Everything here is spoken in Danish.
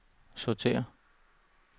sortér